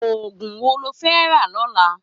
Ógún wó ló fè rà lòlã?